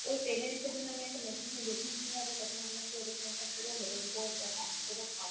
ঐ payment issue এর জন্য আমি একটা তখন আমার হচ্ছে এরকমি একটা